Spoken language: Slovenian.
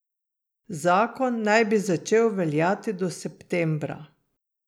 Zakon naj bi začel veljati do septembra.